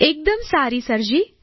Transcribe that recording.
એકદમ સારી સરજી